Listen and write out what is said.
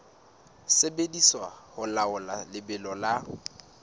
sebediswa ho laola lebelo la